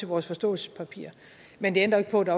vores forståelsespapir men det ændrer ikke på at